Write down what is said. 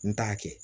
N t'a kɛ